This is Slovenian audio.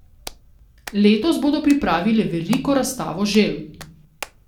Letos bodo pripravili veliko razstavo želv.